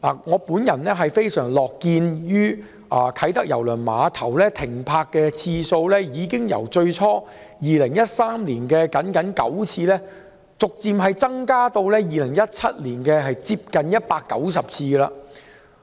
我樂見啟德郵輪碼頭的郵輪停泊次數，由最初2013年僅僅9次，逐漸增至2017年接近190次。